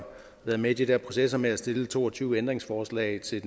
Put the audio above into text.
været med i de her processer med at stille to og tyve ændringsforslag til